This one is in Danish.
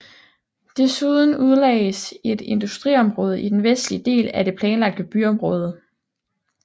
Desuden udlagdes et industriområde i den vestlige del af det planlagte byområde